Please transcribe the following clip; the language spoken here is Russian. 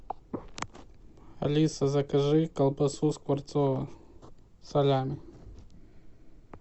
алиса закажи колбасу скворцово салями